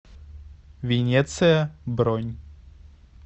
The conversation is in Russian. венеция бронь